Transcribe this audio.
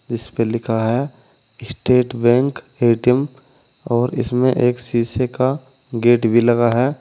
इसपे लिखा है स्टेट बैंक ए_टी_एम और इसमें एक शीशे का गेट भी लगा है।